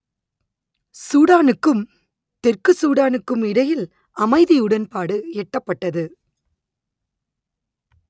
சூடானுக்கும் தெற்கு சூடானுக்கும் இடையில் அமைதி உடன்பாடு எட்டப்பட்டது